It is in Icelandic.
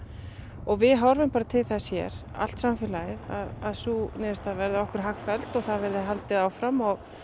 og við horfum bara til þess hér allt samfélagið að sú niðurstaða verði okkur hagfelld og það verði haldið áfram og